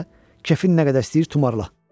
Kefin nə qədər istəyir tumarla.